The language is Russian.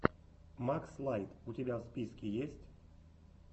макс лайт у тебя в списке есть